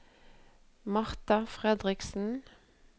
Marta Fredriksen